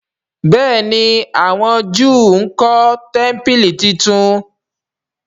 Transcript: béèni àwọn júù nkó tẹmpili títún.